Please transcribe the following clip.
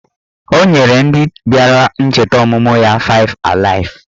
Ọ nyere ndị bịara ncheta ọmụmụ ya faịv alaịf